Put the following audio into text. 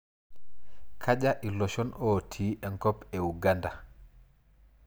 Kaja iloshon otii enkop e Uganda?